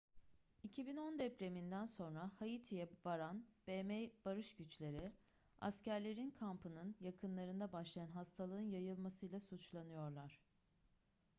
2010 depreminden sonra haiti'ye varan bm barış güçleri askerlerin kampının yakınlarında başlayan hastalığın yayılmasıyla suçlanıyorlar